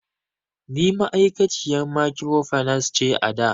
Ni ma'aikaciyan mikrofinance ce ada